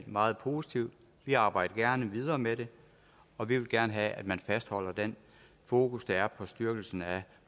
meget positiv vi arbejder gerne videre med det og vi vil gerne have at man fastholder det fokus der er på styrkelsen af